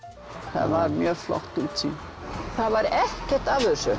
það var mjög flott útsýni það var ekkert af þessu